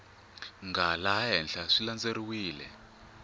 nga laha henhla swi landzeleriwile